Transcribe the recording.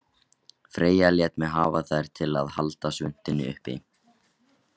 Freyja lét mig hafa þær til að halda svuntunni uppi